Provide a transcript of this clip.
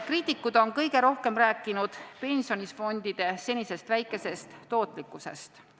Kriitikud on kõige rohkem rääkinud pensionifondide senisest väikesest tootlikkusest.